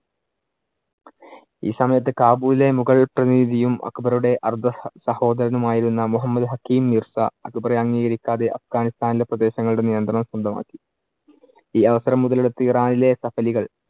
ഈ സമയത്ത് കാബൂളിലെ മുകൾ പ്രതിനിധിയും അക്ബറുടെ അർദ്ധസഹോദരനും ആയിരുന്ന മുഹമ്മദ് ഹക്കിം മിർസ അക്ബറെ അംഗീകരിക്കാതെ അഫ്ഘാനിസ്താനിലെ പ്രദേശങ്ങളുടെ നിയന്ത്രണം സ്വന്തമാക്കി. ഈ അവസരം മുതലെടുത്ത് ഇറാനിലെ കപ്പലുകൾ